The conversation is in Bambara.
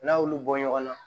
N'a y'olu bɔ ɲɔgɔn na